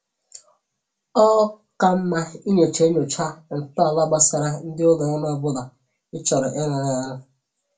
Ọ ka mma inyocha inyocha ntọala gbasara ndị ụlọ ọrụ ọbụla ị chọrọ ịrụrụ ọrụ